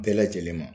Bɛɛ lajɛlen ma